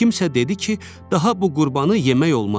Kimsə dedi ki, daha bu qurbanı yemək olmaz.